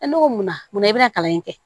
ne ko munna mun na i bɛna kalan in kɛ